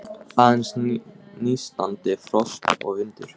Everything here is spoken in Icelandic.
Aðeins nístandi frost og vindur.